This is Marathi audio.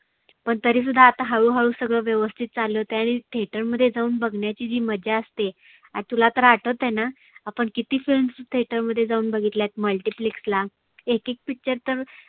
पण तरी सुद्धा हळू हळू सगळ व्यवस्थीत चालु आणि theater मध्ये जाऊन बघण्याची जी मजा असते. आता तुला तर आठवतना? आपण किती films theater मध्ये जाऊन बघितल्यात miltyplex ला. एक एक picture तर